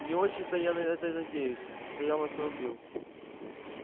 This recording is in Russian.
не очень то я на это надеюсь стоял на своём билл